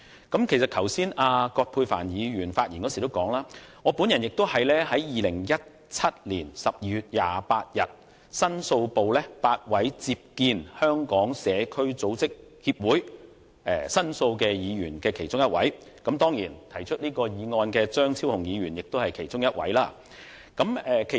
葛珮帆議員剛才發言的時候指出 ，8 位議員於2017年12月28日在立法會申訴部聽取香港社區組織協會的申訴，我是其中一位議員，而動議本議案的張議員當然亦是其中一位。